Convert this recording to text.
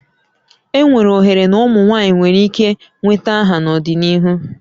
Enwere ohere na ụmụ nwanyị nwere ike nweta aha n'ọdịnihu